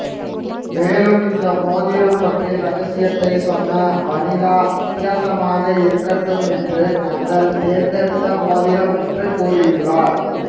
மேலும் இந்த மோதிரம் பற்றிய ரகசியத்தை சொன்ன வனிதா வித்தியாசமாக இருக்கட்டும் என்று நாங்கள் தேர்ந்தெடுத்த மோதிரம் என்றும் கூறியுள்ளார்